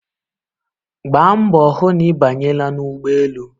Gbaa mbọ hụ na ị Abanyela n'ụgbọelu!